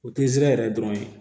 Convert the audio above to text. O tɛ zɛrɛ yɛrɛ dɔrɔn ye